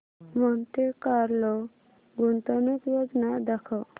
Monte Carlo गुंतवणूक योजना दाखव